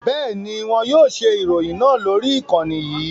Bẹ́ẹ̀ni, wọn yóò ṣe ìròyìn náà lórí ìkànnì yìí